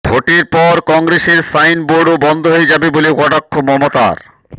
ভোটের পর কংগ্রেসের সাইন বোর্ডও বন্ধ হয়ে যাবে বলে কটাক্ষ মমতার